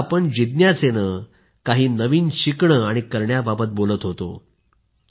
आता आपण जिज्ञासेने काही नवीन शिकणं आणि करण्याबाबत बोलत होतो